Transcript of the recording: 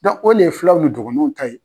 o de ye filaw ni dɔgɔnɔw ta ye.